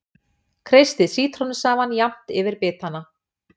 Kreistið sítrónusafann jafnt yfir bitana.